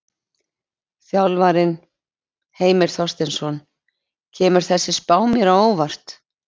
Þjálfarinn: Heimir Þorsteinsson: Kemur þessi spá mér á óvart?